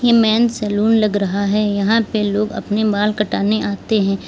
Men's salon लग रहा है यहां पे लोग अपने बाल कटाने आते हैं।